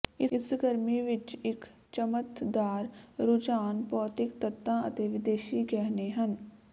ਇਸ ਗਰਮੀ ਵਿੱਚ ਇੱਕ ਚਮਕਦਾਰ ਰੁਝਾਨ ਭੌਤਿਕ ਤੱਤਾਂ ਅਤੇ ਵਿਦੇਸ਼ੀ ਗਹਿਣੇ ਹਨ